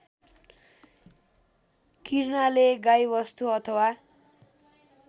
किर्नाले गाईवस्तु अथवा